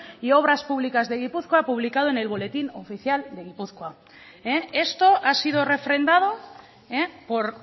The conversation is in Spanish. y obras públicas de gizpuzkoa publicado en el boletín oficial de gipuzkoa esto ha sido refrendado por